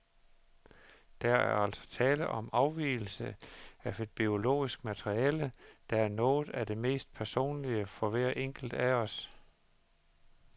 Der er altså tale om afgivelse af et biologisk materiale, der er noget af det mest personlige for hver enkelt af os.